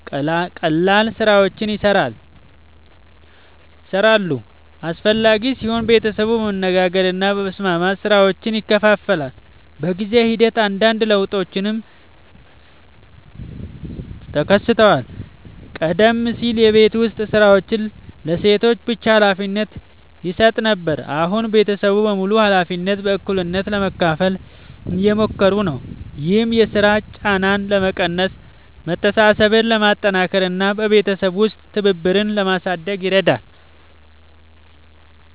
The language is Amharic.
ቀላል ሥራዎችን ይሠራሉ። አስፈላጊ ሲሆን ቤተሰቡ በመነጋገር እና በመስማማት ሥራዎችን ይከፋፍላል። በጊዜ ሂደት አንዳንድ ለውጦችም ተከስተዋል። ቀደም ሲል የቤት ዉስጥ ሥራዎች ለሴቶች ብቻ ሀላፊነት ይሰጥ ነበር፣ አሁን ቤተሰቡ በሙሉ ኃላፊነቶችን በእኩልነት ለመካፈል እየሞከሩ ነው። ይህም የሥራ ጫናን ለመቀነስ፣ መተሳሰብን ለማጠናከር እና በቤተሰብ ውስጥ ትብብርን ለማሳደግ ይረዳል።